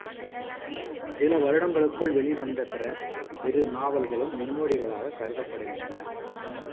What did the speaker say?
சில வருடங்களுக்குள் வெளிவந்த பிற இரு நாவல்களும் முன்னோடிகளாக கருதப்படுகின்றன